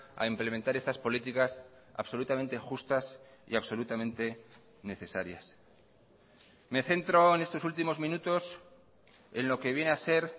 a implementar estas políticas absolutamente justas y absolutamente necesarias me centro en estos últimos minutos en lo que viene a ser